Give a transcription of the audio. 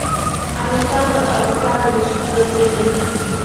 александр александрович зацепин